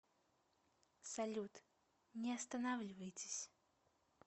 салют не останавливайтесь